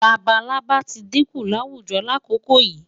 Labalábá tí dínkù láwùjo lákòókò yìí.